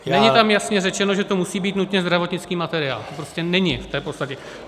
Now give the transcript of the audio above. Není tam jasně řečeno, že to musí být nutně zdravotnický materiál, to prostě není v té podstatě.